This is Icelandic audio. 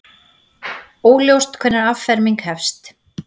Óljóst hvenær afferming hefst